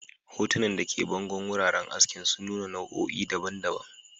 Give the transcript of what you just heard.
Hotunan da ke bangon wuraren askin sun nuna nau'o'i daban-daban.